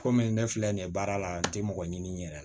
Komi ne filɛ nin ye baara la n tɛ mɔgɔ ɲini yɛrɛ